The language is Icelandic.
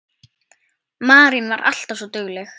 Marín var alltaf svo dugleg.